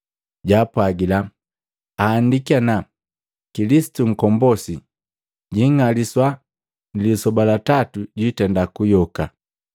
Jwaapwagila, “Ahandiki ana, Kilisitu Nkombosi jing'aliswa nilisoba la tatu jwiitenda kuyoka.